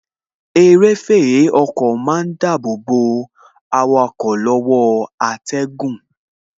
Eréfèé ọkọ má ń dàbọ̀ bo awakọ̀ lọ́wọ́ atẹ́gùn